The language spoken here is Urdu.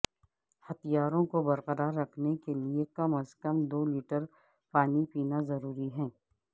ہتھیاروں کو برقرار رکھنے کے لئے کم از کم دو لیٹر پانی پینا ضروری ہے